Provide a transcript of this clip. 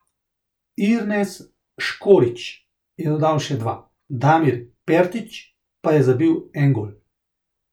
Irnes Škorić je dodal še dva, Damir Pertić pa je zabil en gol.